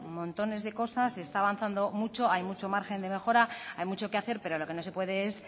montones de cosas se está avanzando mucho hay mucho margen de mejora hay mucho que hacer pero lo que no se puede es